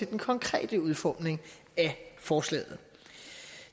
den konkrete udformning af forslaget